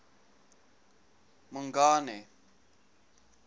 mongane